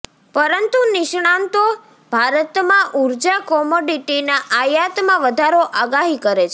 પરંતુ નિષ્ણાતો ભારતમાં ઊર્જા કોમોડિટીના આયાતમાં વધારો આગાહી કરે છે